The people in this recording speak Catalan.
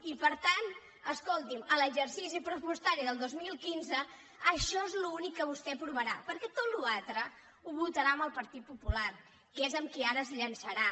i per tant escolti’m a l’exercici pressupostari del dos mil quinze això és l’únic que vostè aprovarà perquè to·ta la resta la votarà amb el partit popular que és amb qui ara es llançarà